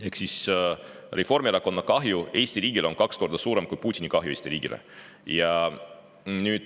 Ehk Reformierakonna kahju Eesti riigile on kaks korda suurem kui Putini kahju Eesti riigile.